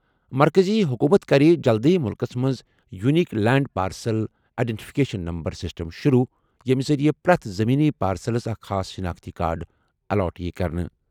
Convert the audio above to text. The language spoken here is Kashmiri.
مرکزی حکومت کَرِ جلدٕیہ مُلکَس منٛز unique land parcel identification number system شروع، ییٚمہِ ذٔریعہٕ پرٛٮ۪تھ زٔمیٖنی پارسلَس اکھ خاص شناختی کارڈ الاٹ یِیہِ کرنہٕ۔